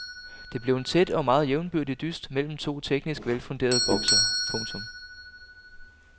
Det blev en tæt og meget jævnbyrdig dyst mellem to teknisk velfunderede boksere. punktum